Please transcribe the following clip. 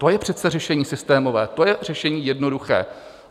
To je přece řešení systémové, to je řešení jednoduché.